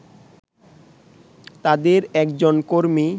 তাদের একজন কর্মী